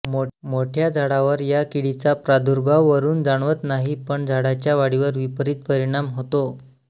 मोठ्या झाडावर या किडीचा प्रादुर्भाव वरून जाणवत नाही पण झाडाच्या वाढीवर विपरीत परिणाम होतो